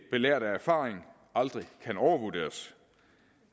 belært af erfaring aldrig kan overvurderes